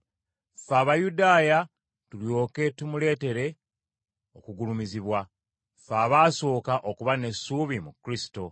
ffe Abayudaaya tulyoke tumuleetere okugulumizibwa, ffe abaasooka okuba n’essuubi mu Kristo.